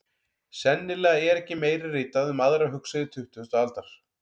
Sennilega er ekki meira ritað um aðra hugsuði tuttugustu aldar.